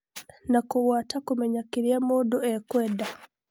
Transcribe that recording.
Na kũgũata kũmenya kĩrĩa mũndũ ekwenda.